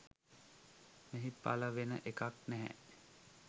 මෙහි පළ වෙන එකක් නැහැ.